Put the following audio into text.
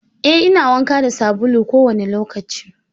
Eh, ina wanka da sabulu kowane lokaci.